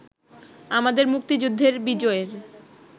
আমাদের মুক্তিযুদ্ধের বিজয়ের